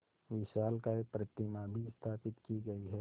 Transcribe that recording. विशालकाय प्रतिमा भी स्थापित की गई है